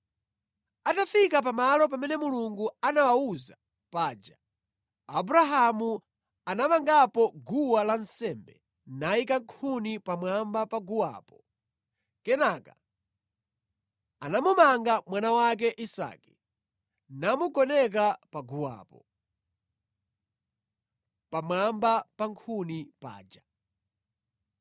Atafika pamalo pamene Mulungu anamuwuza paja, Abrahamu anamangapo guwa lansembe nayika nkhuni pamwamba pa guwapo. Kenaka anamumanga mwana wake Isake namugoneka paguwapo, pamwamba pa nkhuni paja.